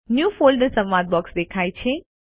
new folder સંવાદ box દેખાય છે